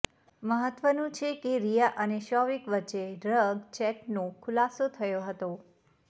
મહત્વનું છે કે રિયા અને શોવિક વચ્ચે ડ્રગ ચેટનો ખુલાસો થયો હતો